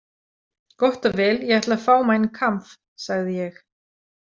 Gott og vel, ég ætla að fá Mein Kampf, sagði ég.